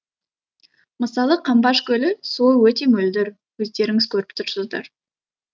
мысалы қамбаш көлі суы өте мөлдір өздеріңіз көріп тұрсыздар